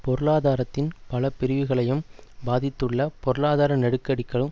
பொருளாதாரத்தின் பல பிரிவுகளையும் பாதித்துள்ள பொருளாதார நெருக்கடிக்களும்